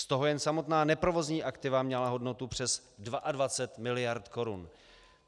Z toho jen samotná neprovozní aktiva měla hodnotu přes 22 mld. korun.